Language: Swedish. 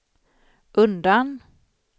undan